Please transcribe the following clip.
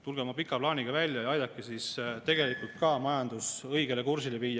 Tulge oma pika plaaniga välja ja aidake siis tegelikult ka majandus õigele kursile viia.